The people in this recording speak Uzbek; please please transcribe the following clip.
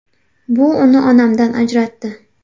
Bu uni onamdan ajratdi.